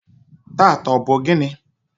taata, ọ bụ gịnị?